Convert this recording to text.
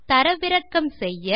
தரவிறக்கம் செய்ய